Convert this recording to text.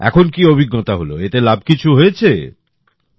এখন কী অভিজ্ঞতা হল এতে লাভ হয়েছে কিছু